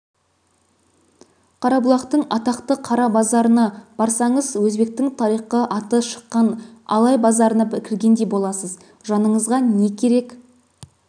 қарабұлақтың атақты қара базарына барсаңыз өзбектің тарихқа аты шыққан алай базарына кіргендей боласыз жаныңызға не керек